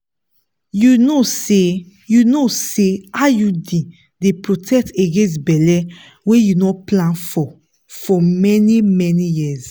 you know say you know say iud dey protect against belle wey you no plan for for many-many years.